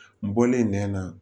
N bɔlen nɛn na